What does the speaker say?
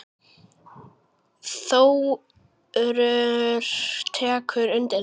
Þórður tekur undir þetta.